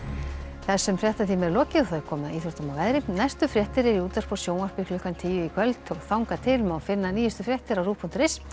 þessum fréttatíma er lokið og komið að íþróttum og veðri næstu fréttir eru í útvarpi og sjónvarpi klukkan tíu í kvöld og þangað til má finna nýjustu fréttir á rúv punktur is